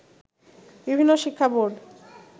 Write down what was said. বিভিন্ন শিক্ষাবোর্ড